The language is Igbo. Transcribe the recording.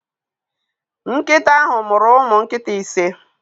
Nkita anyi muru umu nkita ise